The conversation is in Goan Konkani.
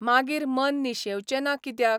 मागीर मन निशेंवचें ना कित्याक?